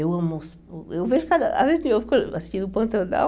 Eu eu vejo cada as vez que eu fico olhando assim o Pantanal...